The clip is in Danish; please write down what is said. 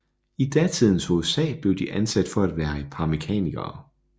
I datidens USA blev de anset for være et par mekanikere